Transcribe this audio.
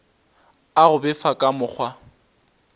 a go befa ka mokgwa